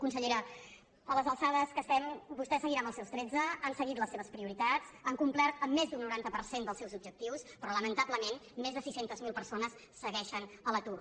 consellera a les alçades que estem vostè seguirà en els seus tretze han seguit les seves prioritats han complert amb més d’un noranta per cent dels seus objectius però lamentablement més de sis cents miler persones segueixen a l’atur